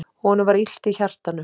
Honum var illt í hjartanu.